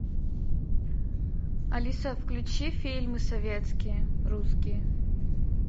алиса включи фильмы советские русские